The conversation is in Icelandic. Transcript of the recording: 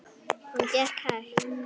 Hún gekk hægt.